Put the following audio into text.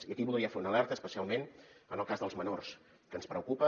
i aquí voldria fer una alerta especialment en el cas dels menors que ens preocupa